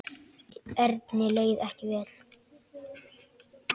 Erni leið ekki vel.